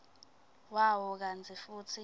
wawo kantsi futsi